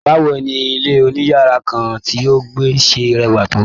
Bawo ni ilé oniyara kan tí o gba ṣẹ rẹwa tó?